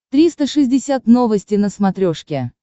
триста шестьдесят новости на смотрешке